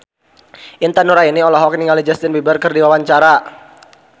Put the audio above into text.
Intan Nuraini olohok ningali Justin Beiber keur diwawancara